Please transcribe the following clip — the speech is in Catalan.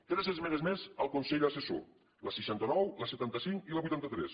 tres esmenes més al consell assessor la seixanta nou la setanta cinc i la vuitanta tres